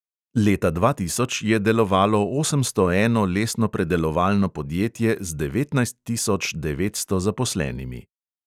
Leta dva tisoč je delovalo osemsto eno lesnopredelovalno podjetje z devetnajst tisoč devetsto zaposlenimi.